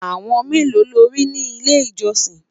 àwọn melo lórí ni ilé ìjósìn?